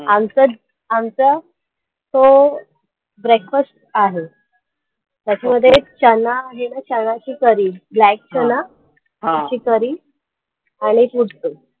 आमचा आमचा तो breakfast आहे त्याच्यामध्ये ना चणा आहे ना चणाची curry black चणा त्याची curry आणि